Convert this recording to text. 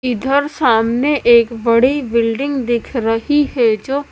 इधर सामने एक बड़ी बिल्डिंग दिख रही है जो--